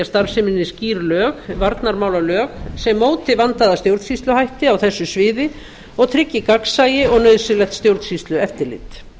starfseminni skýr lög varnarmálalög sem móti vandaða stjórnsýsluhætti á þessu sviði og tryggi gagnsæi og nauðsynlegt stjórnsýslueftirlit